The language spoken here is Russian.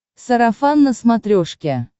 сарафан на смотрешке